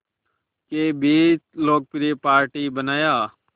के बीच लोकप्रिय पार्टी बनाया